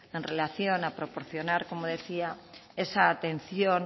en relación a proporcionar como decía esa atención